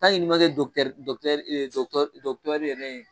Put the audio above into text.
n'i ma kɛ yɛrɛ ye.